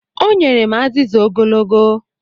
O nyere m azịza ogologo.